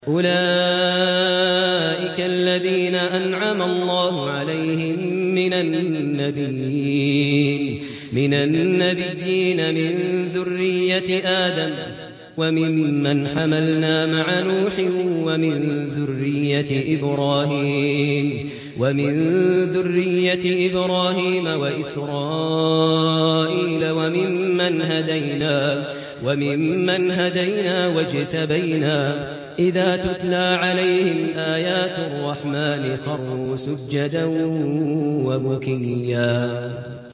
أُولَٰئِكَ الَّذِينَ أَنْعَمَ اللَّهُ عَلَيْهِم مِّنَ النَّبِيِّينَ مِن ذُرِّيَّةِ آدَمَ وَمِمَّنْ حَمَلْنَا مَعَ نُوحٍ وَمِن ذُرِّيَّةِ إِبْرَاهِيمَ وَإِسْرَائِيلَ وَمِمَّنْ هَدَيْنَا وَاجْتَبَيْنَا ۚ إِذَا تُتْلَىٰ عَلَيْهِمْ آيَاتُ الرَّحْمَٰنِ خَرُّوا سُجَّدًا وَبُكِيًّا ۩